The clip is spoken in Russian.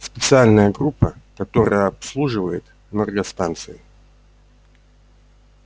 специальная группа которая обслуживает энергостанции